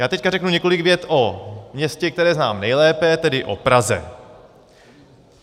Já teď řeknu několik vět o městě, které znám nejlépe, tedy o Praze.